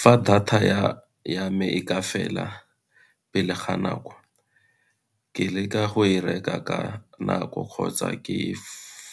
Fa data ya me e ka fela pele ga nako, ke leka go e reka ka nako kgotsa ke